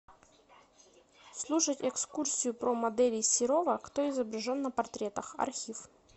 слушать экскурсию про моделей серова кто изображен на портретах архив